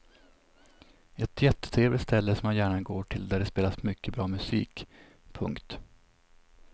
Ett jättetrevligt ställe som jag gärna går till och där det spelas mycket bra musik. punkt